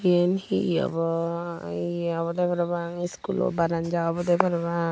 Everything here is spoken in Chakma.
yen hee obo yeh obodey parapang skoolo baranja obodey parapang.